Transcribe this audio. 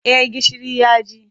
Eh gishiri ya ji.